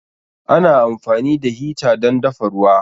Ana amfani da hita dan dafa ruwa